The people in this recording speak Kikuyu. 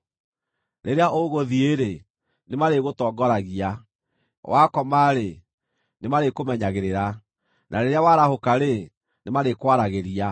Rĩrĩa ũgũthiĩ-rĩ, nĩmarĩgũtongoragia; wakoma-rĩ, nĩmarĩkũmenyagĩrĩra; na rĩrĩa warahũka-rĩ, nĩmarĩkwaragĩria.